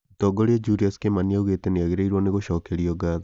Mũtongoria Julius Kimani augĩte nĩagĩrĩirwo nĩ gũcokerio ngatho